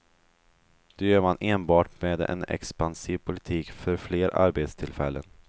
Det gör man enbart med en expansiv politik för fler arbetstillfällen.